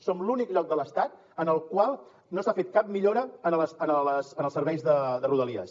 som l’únic lloc de l’estat en el qual no s’ha fet cap millora en els serveis de rodalies